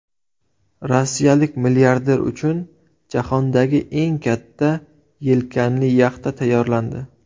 Rossiyalik milliarder uchun jahondagi eng katta yelkanli yaxta tayyorlandi.